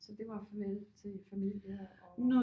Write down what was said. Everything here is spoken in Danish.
Så det var farvel til familie og